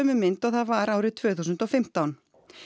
mynd og það var árið tvö þúsund og fimmtán